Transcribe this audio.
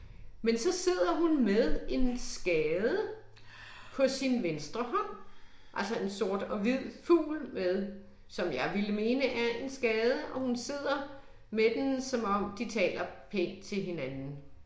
Men så sidder hun med en skade på sin venstre hånd, altså en sort og hvid fugl med, som jeg ville mene er en skade, og hun sidder med den som om de taler pænt til hinanden